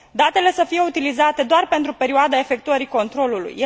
Datele să fie utilizate doar pentru perioada efectuării controlului.